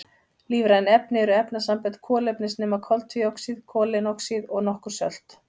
Lífræn efni eru efnasambönd kolefnis nema koltvíoxíð, koleinoxíð og nokkur sölt.